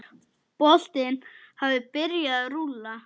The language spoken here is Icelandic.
Boltinn hafi byrjað að rúlla.